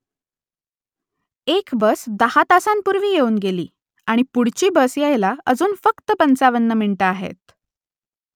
एक बस दहा तासांपूर्वी येऊन गेली आणि पुढची बस यायला अजून फक्त पंचावन्न मिनिटं आहेत